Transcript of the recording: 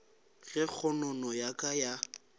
ge kgonono ya ka ya